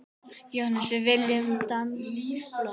JÓHANNES: Við viljum danskt blóð!